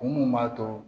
Mun b'a to